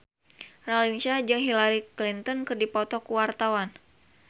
Raline Shah jeung Hillary Clinton keur dipoto ku wartawan